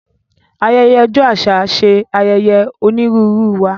Ayẹyẹ ọjọ aṣa ṣe ayẹyẹ onírúurú wá.